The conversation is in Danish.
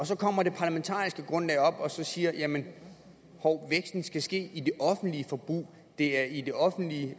så kommer det parlamentariske grundlag op og siger jamen hov væksten skal ske i det offentlige forbrug det er i det offentlige